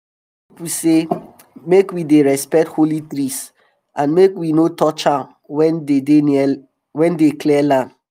our old pipu say make we dey respect holy trees and make we no touch am when we dey clear land